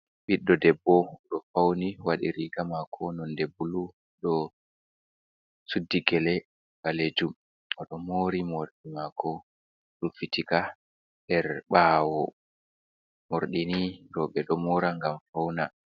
Biɗɗo ɗebbo do fauni wadi riga mako nonde bulu. Ɗo suɗɗi gele ɗanejum. Odo moori mordi mako ruffitika her bawo. Mordini robe do mora gam faune.